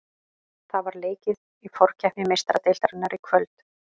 Það var leikið í forkeppni Meistaradeildarinnar í kvöld.